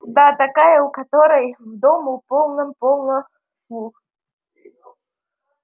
да такая у которой в дому полным-полно слуг